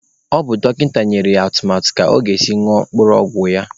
Ọ bụ dọkịta nyere ya atụmatụ ka ọ ga-esi ñụọ mkpụrụ ọgwụ ya